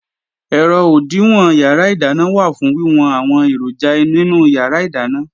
Ẹ̀rọ òdìwọ̀n yàrá ìdáná wà fún wíwọn àwọn èròjà nínú yàrá ìdáná